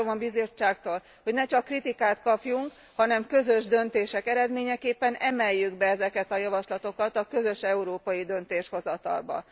Azt várom a Bizottságtól, hogy ne csak kritikát kapjunk, hanem közös döntések eredményeképpen emeljük be ezeket a javaslatokat a közös európai döntéshozatalba.